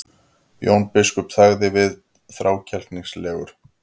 Jón biskup þagði við, þrákelknislegur.